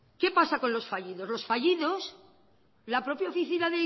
qué pasa con los fallidos los fallidos la propia oficina